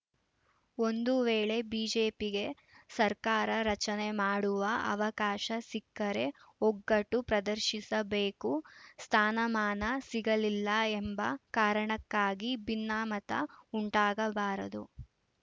ಒಂದು ವೇಳೆ ಬಿಜೆಪಿಗೆ ಸರ್ಕಾರ ರಚನೆ ಮಾಡುವ ಅವಕಾಶ ಸಿಕ್ಕರೆ ಒಗ್ಗಟ್ಟು ಪ್ರದರ್ಶಿಸಬೇಕು ಸ್ಥಾನಮಾನ ಸಿಗಲಿಲ್ಲ ಎಂಬ ಕಾರಣಕ್ಕಾಗಿ ಭಿನ್ನಾಮತ ಉಂಟಾಗಬಾರದು